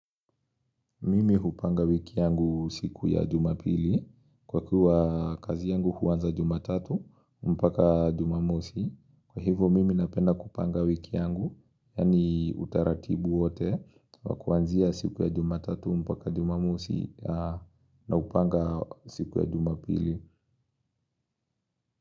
Mimi hupanga wiki yangu siku ya jumapili Kwa kuwa kazi yangu huanza jumatatu mpaka jumamosi Kwa hivyo mimi napenda kupanga wiki yangu Yaani utaratibu wote kwa kuanzia siku ya jumatatu mpaka jumamosi na hupanga siku ya jumapili.